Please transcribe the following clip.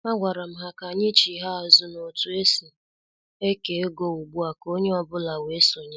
A gwara m ha ka anyị chigha azụ n' otu esi eke ego ugbua ka onye ọ bụla wee sonye.